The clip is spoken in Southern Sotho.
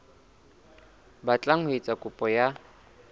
batlang ho etsa kopo ya